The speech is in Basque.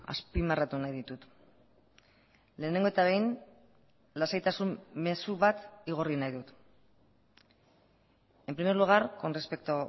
azpimarratu nahi ditut lehenengo eta behin lasaitasun mezu bat igorri nahi dut en primer lugar con respecto